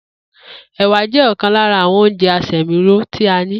Èwà jé̩ ò̩kan lára àwo̩n oúnje̩ asè̩míró tí a ní